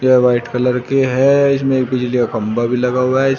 यह white colour की है इसमें एक बिजली का खंबा भी लगा हुआ है --